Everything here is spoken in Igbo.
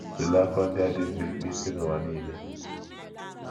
Tụlee akụkọ ndị a dị mkpirikpi si nụwa niile.